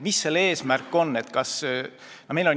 Mis selle eesmärk on?